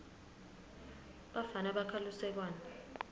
bafana bakha lusekwane